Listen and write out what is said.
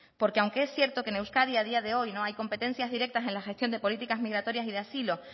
porque aunque es cierto que en euskadi a día de hoy no hay competencias directas en la gestión de políticas migratorias y de asilo